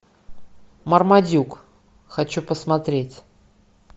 мармадюк хочу посмотреть